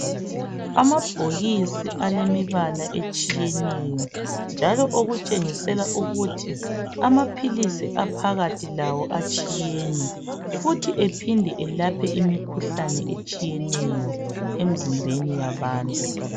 Amabhokisi alemibala etshiyeneyo njalo okutshengisela ukuthi amaphilisi aphakathi lawo atshiyene futhi ephinde elaphe imikhuhlane etshiyeneyo emizimbeni yabantu.